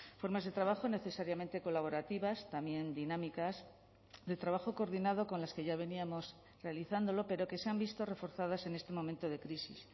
formas de trabajo necesariamente colaborativas también dinámicas de trabajo coordinado con las que ya veníamos realizándolo pero que se han visto reforzadas en este momento de crisis